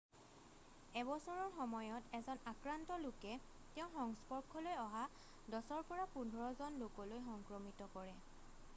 1 বছৰৰ সময়ত এজন আক্ৰান্ত লোকে তেওঁৰ সংস্পৰ্শলৈ অহা 10 ৰ পৰা 15 জন লোকলৈ সংক্ৰমিত কৰে